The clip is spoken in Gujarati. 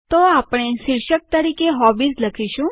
તો આપણે શીર્ષક તરીકે હોબીઝ લખીશું